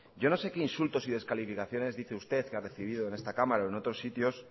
yo no sé qué insultos y descalificaciones dice usted que ha recibido en esta cámara o en otros sitios